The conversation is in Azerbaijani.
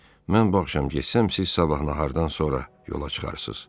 Mən bu axşam getsəm, siz sabah nahardan sonra yola çıxarsınız.